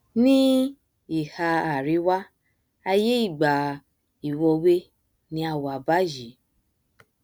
ní ìhà àríwá aiyé ìgbà ìwọwé ni a wà báyìí